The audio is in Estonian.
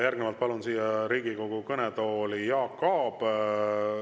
Järgnevalt palun siia Riigikogu kõnetooli Jaak Aabi.